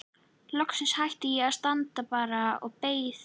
Loks hætti ég og sat bara og beið.